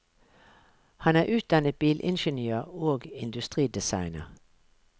Han er utdannet bilingeniør og industridesigner.